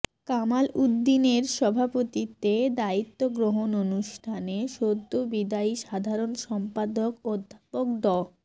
কামাল উদ্দীনের সভাপতিত্বে দায়িত্ব গ্রহণ অনুষ্ঠানে সদ্য বিদায়ী সাধারণ সম্পাদক অধ্যাপক ড